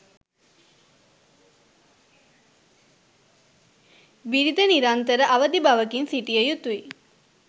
බිරිඳ නිරන්තර අවදිබවකින් සිටිය යුතුයි